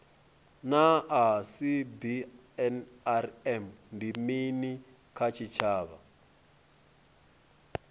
naa cbnrm ndi mini kha tshitshavha